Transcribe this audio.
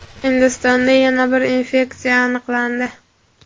Hindistonda yana bir infeksiya aniqlandi.